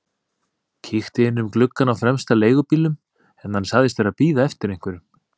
Kíkti inn um gluggann á fremsta leigubílnum en hann sagðist vera að bíða eftir einhverjum.